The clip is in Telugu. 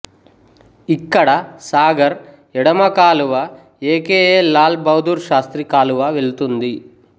ఇక్కడ సాగర్ ఎడమ కాలువ A K A Lal Bahadur Shastri కాలువ వెళుతుంది